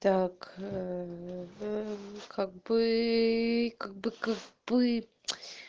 как бы как бы как бы